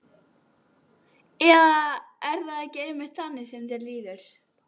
Eða er það ekki einmitt þannig sem þér líður?